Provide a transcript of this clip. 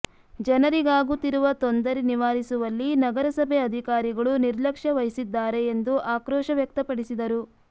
ಜನರಿಗಾಗುತಿರುವ ತೊಂದರೆ ನಿವಾರಿಸುವಲ್ಲಿ ನಗರಸಭೆ ಅಧಿಕಾರಿಗಳು ನಿರ್ಲಕ್ಷ್ಯ ವಹಿಸಿದ್ದಾರೆ ಎಂದು ಆಕ್ರೋಶ ವ್ಯಕ್ತಪಡಿಸಿದರು